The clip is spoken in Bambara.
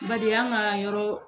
Badi an ka yɔrɔ.